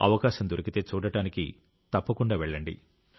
అవకాశం దొరికితే చూడడానికి తప్పకుండా వెళ్ళండి